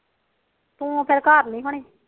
ਤੂੰ ਫਿਰ ਘਰ ਨੀ ਹੋਣੀ